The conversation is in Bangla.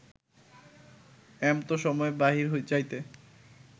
এমতো সময়ে বাহিরে যাইতে